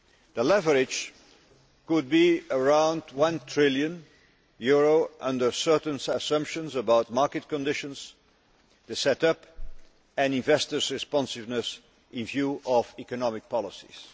The leverage could be around one trillion euros, under certain assumptions about market conditions, the set up and investors' responsiveness in view of economic policies.